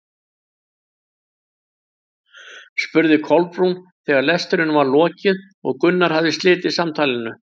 spurði Kolbrún þegar lestrinum var lokið og Gunnar hafði slitið samtalinu.